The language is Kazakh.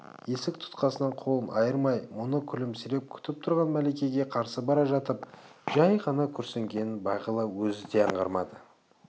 есік тұтқасынан қолын айырмай мұны күлімсіреп күтіп тұрған мәликеге қарсы бара жатып жай ғана күрсінгенін бағила өзі де аңғармады